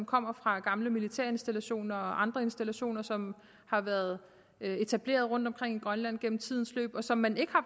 kommer fra gamle militærinstallationer og andre installationer som har været etableret rundtomkring i grønland i tidens løb og som man ikke